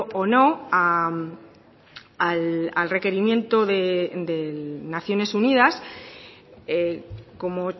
o no al requerimiento de naciones unidas como